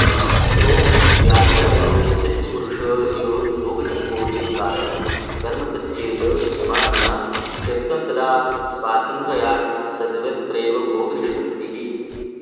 यतो व्यापकयोश्चित्तपुरुषयोर्भोगसङ्कोचे कारणं कर्म तच्चेत् समाधिना क्षिप्तं तदा स्वातन्त्र्यात् सर्वत्रैव भोगनिष्पत्तिः